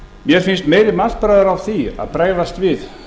mér finnst meiri mannsbragur á því að bregðast við